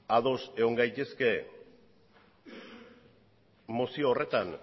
ados egon gaitezke mozio horretan